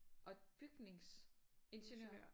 Og bygningsingeniør?